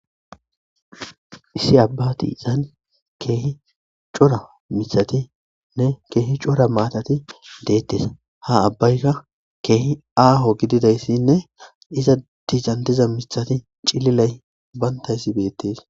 Issi abba ti isan keehi cora misatinne keehi cora maatati deettes ha abbayka keehi aaho gididayssinne iza dizantiza misati cililay bayntayssi beettes.